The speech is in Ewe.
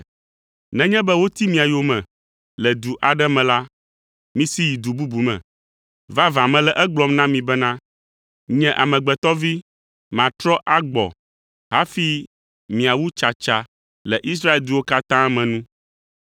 “Nenye be woti mia yome le du aɖe me la, misi yi du bubu me! Vavã mele egblɔm na mi bena, nye Amegbetɔ Vi, matrɔ agbɔ hafi miawu tsatsa le Israel duwo katã me nu.